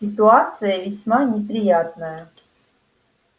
ситуация весьма неприятная